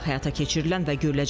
Şəhər parkı salınacaq.